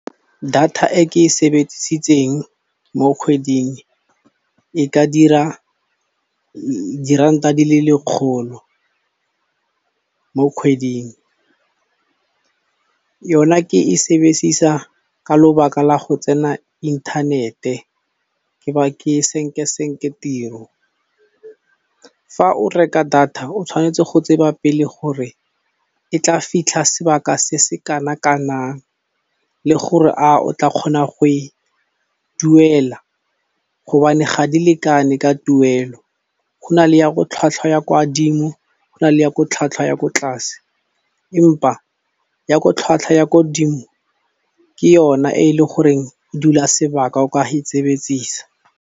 Data e ke e sebedisitseng mo kgweding e ka dira diranta di le lekgolo mo kgweding, yona ke e sebesisa ka lobaka la go tsena inthanete ke ba ke senkesenke tiro. Fa o reka data o tshwanetse go tseba pele gore e tla fitlha sebaka se se kana kanang le gore a o tla kgona go e duela hobane ga di lekane ka tuelo, go na le ya ko tlhwatlhwa ya kwa dimo go na le ya ko tlhwatlhwa ya ko tlase empa ya ko tlhwatlhwa ya kodimo ke yona e e le goreng e dula sebaka o ka e .